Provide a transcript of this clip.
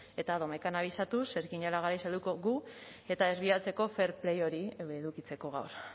eta domekan abisatuz ez ginela garaiz helduko gu eta ez bidaltzeko fair play hori edukitzeko gaur